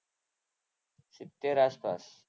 સિત્તેર આસપાસ.